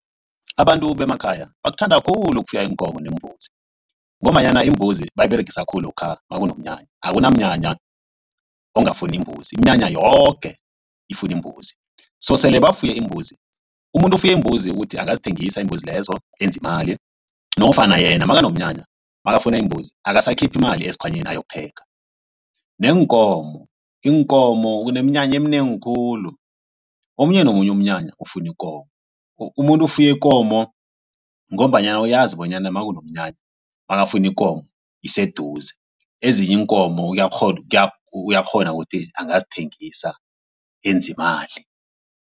Abantu bemakhaya bakuthanda khulu ukufuya iinkomo neembuzi. Ngombanyana imbuzi bayiberegisa khulu lokha makunomnyanya akunamnyanya ongafuni imbuzi iminyanya yoke ifuna imbuzi. So sele bafuye iimbuzi umuntu ofuye iimbuzi ukuthi angazithengisa iimbuzi lezo enza imali nofana yena makunomnyanya makafuna imbuzi angasakhiphi imali esikhwanyeni ayokuthenga. Neenkomo iinkomo kuneminyanya eminengi khulu omunye nomunye umnyanya ufuna ikomo umuntu ofuye ikomo ngombanyana uyazi bonyana makanomnyanya makafuna ikomo iseduze ezinye iinkomo uyakghona uyakghona ukuthi angazithengisa enza imali.